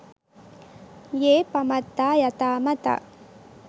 යේ පමත්තා යථා මතා.